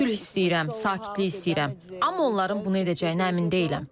Sülh istəyirəm, sakitlik istəyirəm, amma onların bunu edəcəyinə əmin deyiləm.